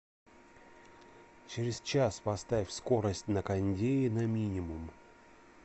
через час поставь скорость на кондее на минимум